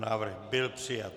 Návrh byl přijat.